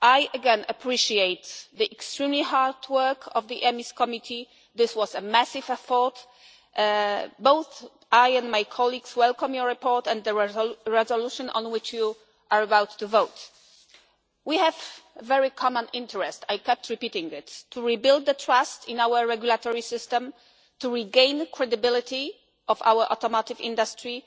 Again, I appreciate the extremely hard work of the EMIS Committee. This was a massive report. Both I and my colleagues welcome your report and the resolution on which you are about to vote. We have a very common interest, I kept repeating this, to rebuild the trust in our regulatory system, to regain the credibility of our automotive industry